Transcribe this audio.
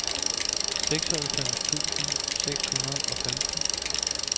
seksoghalvfems tusind seks hundrede og femten